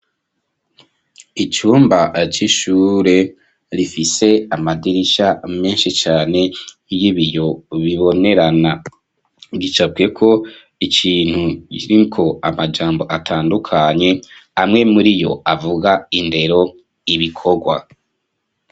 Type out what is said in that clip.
Icumba aca ishure rifise amadirisha menshi cane y'ibiyo bibonerana gicabweko icintu iko amajambo atandukanye amwe muri yo avuga indero ibikorwa.